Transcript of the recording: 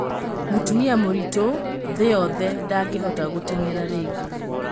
Mũtumia mũritũ thĩ yothe ndangĩhota gũteng'era rĩngĩ